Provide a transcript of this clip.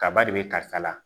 Kaba de bɛ karisa la